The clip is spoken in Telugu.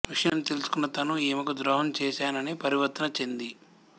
విషయం తెలుసుకుని తను ఈమెకు ద్రోహం చేశానని పరివర్తన చెంది